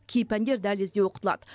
кей пәндер дәлізде оқытылады